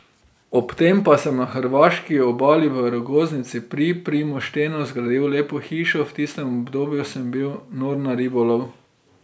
Ob tem pa sem na hrvaški obali, v Rogoznici pri Primoštenu, zgradil lepo hišo, v tistem obdobju sem bil nor na ribolov.